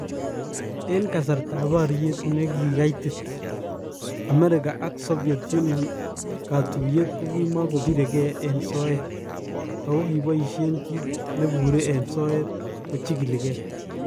En kasartab baryeet nekaitit ,Amerika ak Soviet union katuyeet kokimako birekee en soyeet ,ako kiboisyeen kiit neburee en soyeet kochikile kee